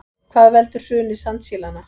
Hvað veldur hruni sandsílanna